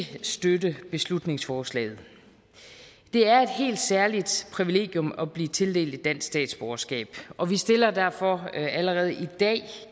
støtte beslutningsforslaget det er et helt særligt privilegium at blive tildelt et dansk statsborgerskab og vi stiller derfor allerede i dag